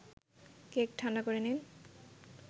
cake ঠাণ্ডা করে নিন